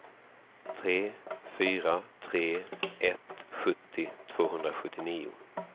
tre fyra tre ett sjuttio tvåhundrasjuttionio